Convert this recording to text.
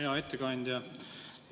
Hea ettekandja!